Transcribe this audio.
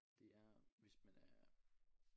Det er hvis man er